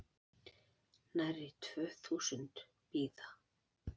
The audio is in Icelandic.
Nærri tvö þúsund bíða